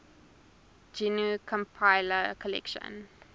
gnu compiler collection